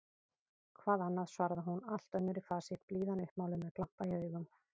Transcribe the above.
Hvað annað? svaraði hún allt önnur í fasi, blíðan uppmáluð, með glampa í augum.